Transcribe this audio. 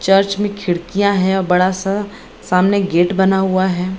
Church में खिडकियाँ हैं बड़ा सा सामने एक गेट बना हुआ है।